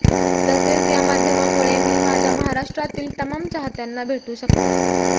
तसेच या माध्यमामुळे मी माझ्या महाराष्ट्रातील तमाम चाहत्यांना भेटू शकते